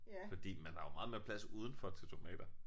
Fordi man har jo meget mere plads udenfor til tomater